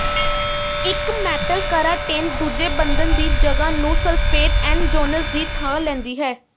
ਇਕ ਮੈਟਲ ਕਰਾਟੇਨ ਦੂਜੇ ਬੰਧਨ ਦੀ ਜਗ੍ਹਾ ਨੂੰ ਸਲਫੇਟ ਐਨਜੋਨਸ ਦੀ ਥਾਂ ਲੈਂਦੀ ਹੈ